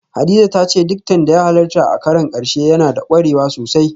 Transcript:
Hadiza ta ce diktan da ya halarta a karon karshe na da kwarewa sosai